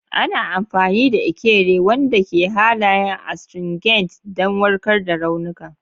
Ana amfani da Ekere, wanda ke da halayen astringent, don warkar da raunuka.